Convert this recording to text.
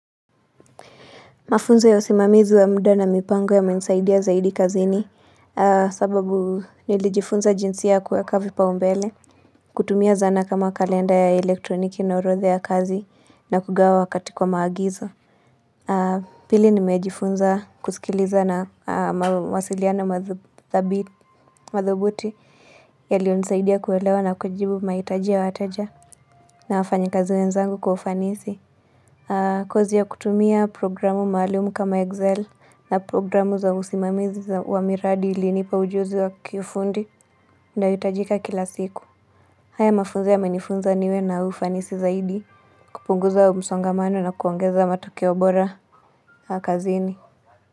Mafunzo ya usimamizi wa muda na mipango yamenisaidia zaidi kazini sababu nilijifunza jinsi ya kuweka vipaumbele kutumia zana kama kalenda ya elektroniki na orodha ya kazi na kugawa wakati kwa maagizo Pili nimejifunza kusikiliza na mawasiliano madhubuti Yalionisaidia kuelewa na kujibu mahitaji ya wateja na wafanyikazi wenzangu kwa ufanisi kozi ya kutumia programu maalumu kama Excel na programu za usimamizi wa miradi ilinipa ujuzi wa kiufundi inayohitajika kila siku haya mafunzo yamenifunza niwe na ufanisi zaidi kupunguza msongamano na kuongeza matokeo bora kazini.